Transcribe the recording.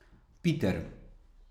Piter.